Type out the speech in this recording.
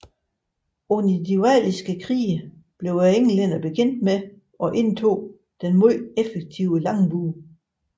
Under de walisiske krige blev englænderne bekendt med og indoptog den meget effektive langbue